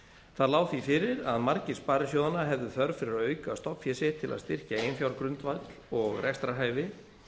það lá því fyrir að margir sparisjóðanna hefðu þörf fyrir að auka stofnfé sitt til að styrkja eiginfjárgrundvöll og rekstrarhæfi